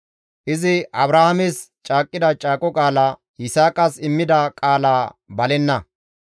Izi Abrahaames caaqqida caaqo qaala, Yisaaqas immida qaala balenna.